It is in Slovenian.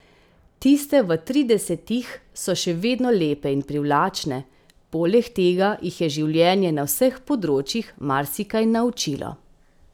Tiste v tridesetih so še vedno lepe in privlačne, poleg tega jih je življenje na vseh področjih marsikaj naučilo.